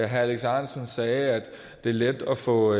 herre alex ahrendtsen sagde at det er lettere at få